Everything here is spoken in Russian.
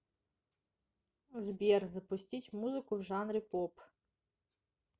сбер запустить музыку в жанре поп